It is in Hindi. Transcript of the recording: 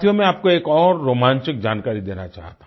मैं आपको एक और रोमांचक जानकारी देना चाहता हूँ